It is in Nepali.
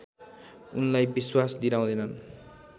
उनलाई विश्वास दिलाउँदैनन्